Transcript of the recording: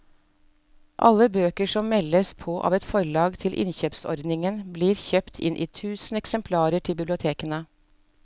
Alle bøker som meldes på av et forlag til innkjøpsordningen blir kjøpt inn i tusen eksemplarer til bibliotekene.